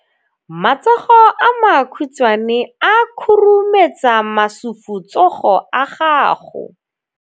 Matsogo a makhutshwane a khurumetsa masufutsogo a gago.